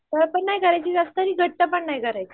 पातळ पण नाही करायची जास्त आणि घट्ट पण नाही करायची